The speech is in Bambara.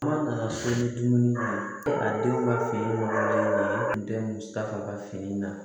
Kuma nana so ni dumuni ko a denw ka fini ɲɔgɔnna ye o tun tɛ musaka ka fini na